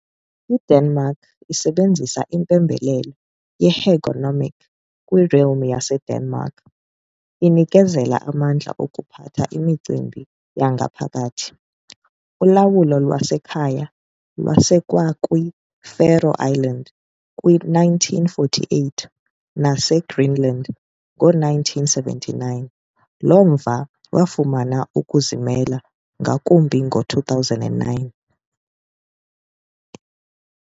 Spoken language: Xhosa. IDenmark isebenzisa impembelelo ye-hegemonic kwi- Realm yaseDenmark, inikezela amandla okuphatha imicimbi yangaphakathi. Ulawulo lwasekhaya lwasekwa kwii-Faroe Islands kwi-1948 naseGreenland ngo-1979, lo mva wafumana ukuzimela ngakumbi ngo-2009.